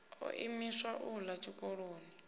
o imiswa u ḓa tshikoloni